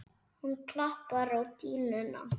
Hann klappar á dýnuna.